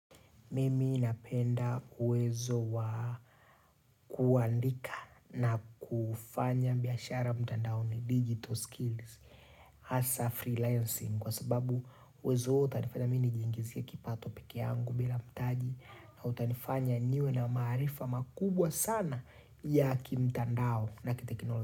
Mimi napenda uwezo wa kuandika na kufanya biashara mtandaoni digital skills. Hasa freelancing kwa sababu uwezo huo utanifanya mimi nijingizie kipato peke yangu bila mtaji na utanifanya niwe na maarifa makubwa sana ya kimtandao na kitekinolojia.